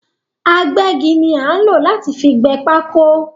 Agbẹ́gi ni a nlo láti fi gbé pákó